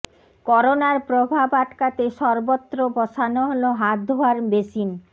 করোনার প্রভাব আটকাতে সর্বত্র বসানো হল হাত ধোয়ার বেসিন